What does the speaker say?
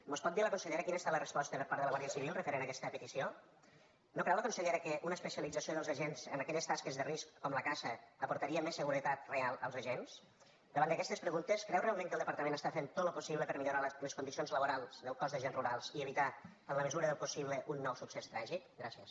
mos pot dir la consellera quina ha estat la resposta per part de la guàrdia civil referent a aquesta petició no creu la consellera que una especialització dels agents en aquelles tasques de risc com la caça aportaria més seguretat real als agents davant aquestes preguntes creu realment que el departament està fent tot lo possible per millorar les condicions laborals del cos d’agents rurals i evitar en la mesura del possible un nou succés tràgic gràcies